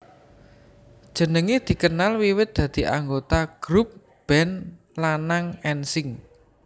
Jenenge dikenal wiwit dadi anggota grub band lanang N Sync